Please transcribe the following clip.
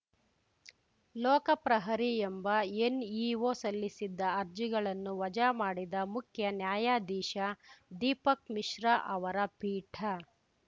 ಲೋಕಪ್ರಹರಿ ಎಂಬ ಎನ್‌ಇಒ ಸಲ್ಲಿಸಿದ್ದ ಅರ್ಜಿಗಳನ್ನು ವಜಾ ಮಾಡಿದ ಮುಖ್ಯ ನ್ಯಾಯಾಧೀಶ ದೀಪಕ್‌ ಮಿಶ್ರ ಅವರ ಪೀಠ